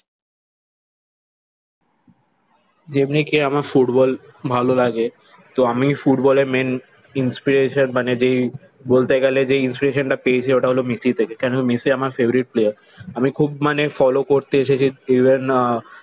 যেমনি কি আমার ফুটবল ভালো লাগে। তো আমি ফুটবলের main inspiration মানে যেই বলতে গেলে যে ইনস্পিরেশন টা পেয়েছি ওটা হল মেসি থেকে। কেন মেসি আমার favorite player. আমি খুব মানে ফলো করতে এসেছি ইভেন আহ